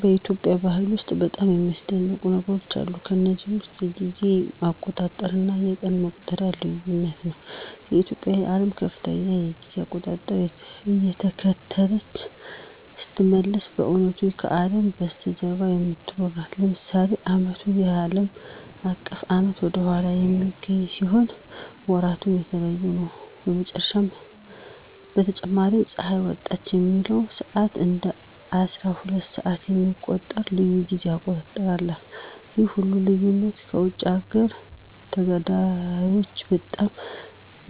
በኢትዮጵያ ባህል ውስጥ በጣም የሚያስደንቁ ነገሮች አሉ። ከነዚህም ውስጥ የጊዜ አቆጣጠር እና የቀን መቁጠሪያው ልዩነት ነው። ኢትዮጵያ የዓለምን ከፍተኛ የጊዜ አቆጣጠር እየተከተለች ስትመስል በእውነቱ ከአለም በስተጀርባ የምትኖር ናት። ለምሳሌ ዓመቱ ከአለም አቀፍ ዓመት ወደ ኋላ በሚገኝ ሲሆን ወራቱም የተለየ ነው። በተጨማሪም ፀሐይ ወጣች የሚለውን ሰዓት እንደ አስራሁለት ሰዓት የሚቆጥር ልዩ የጊዜ አቆጣጠር አላት። ይህ ሁሉ ልዩነት ለውጭ አገር ተጋዳላዮች በጣም